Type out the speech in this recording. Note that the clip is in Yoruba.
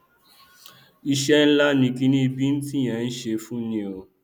iṣẹ ńlá ni kiní bíntín yìí ń ṣe fúni o